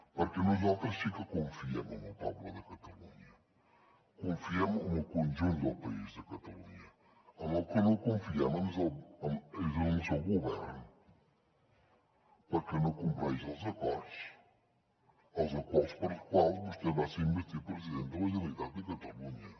perquè nosaltres sí que confiem en el poble de catalunya confiem en el conjunt del país de catalunya en el que no confiem és en el seu govern perquè no compleix els acords els acords pels quals vostè va ser investit president de la generalitat de catalunya